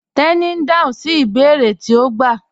Teni n dáhùn sí ibèèrè tí o gbà